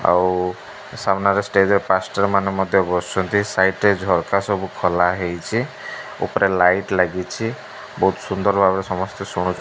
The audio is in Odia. ଆଉ ଉ ସାମ୍ନାରେ ଷ୍ଟେଜ ରେ ମାଷ୍ଟର ମାନେ ମଧ୍ୟ ବସିଛନ୍ତି ସାଇଡ଼ ରେ ଝରକା ସବୁ ଖୋଲା ହେଇଛି ଉପରେ ଲାଇଟ ଲାଗିଚି ବହୁତ ସୁନ୍ଦର ଭାବରେ ସମସ୍ତେ ଶୁଣୁ --